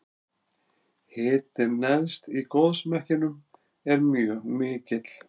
hitinn neðst í gosmekkinum er mjög mikill